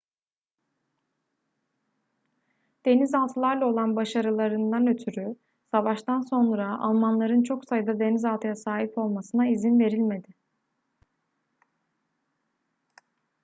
denizaltılarla olan başarılarından ötürü savaştan sonra almanların çok sayıda denizaltıya sahip olmasına izin verilmedi